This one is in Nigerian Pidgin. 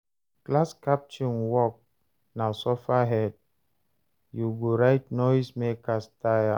Class captain work na suffer head; you go write noise makers tire.